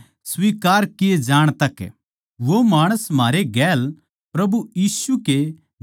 वो माणस म्हारे गेल प्रभु यीशु के जिन्दा होण का गवाह बणै